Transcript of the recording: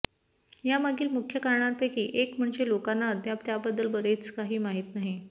यामागील मुख्य कारणांपैकी एक म्हणजे लोकांना अद्याप त्याबद्दल बरेच काही माहित नाही